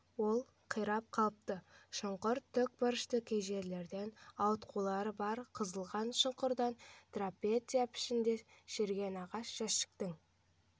ол қирап қалыпты шұңқыр тікбұрышты кей жерлерінде ауытқулары бар қазылған шұңғырдан трапеция пішіндес шіріген ағашжәшіктің